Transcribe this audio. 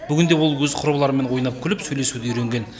бүгінде ол өз құрбыларымен ойнап күліп сөйлесуді үйренген